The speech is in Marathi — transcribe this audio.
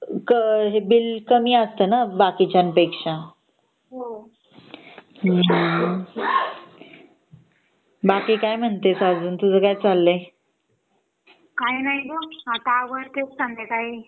अ हे बिल कमी असतं न बाकीच्यापेक्षा हम्म बाकी काय म्हणतेस अजून तुझ काय चाललंय